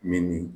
Min ni